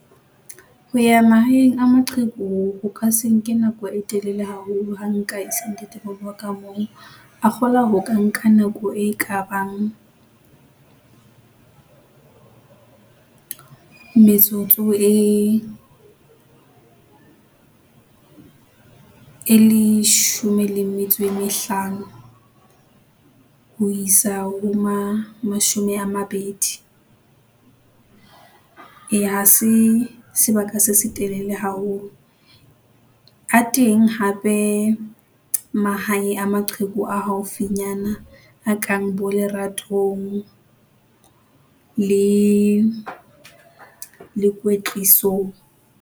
Ho ya mahaeng a maqheku ho ka se nke nako e telele haholo. Ha nka se ntate moholo waka moo, a kgolwa hore ka nka nako e kabang metsotso e e leshome le metso e mehlano, ho isa ho ma, mashome a mabedi. Eya ha se, sebaka se setelele haholo. A teng hape, mahae a maqheku a haufinyana a kang bo leratong le, le kwetlisong.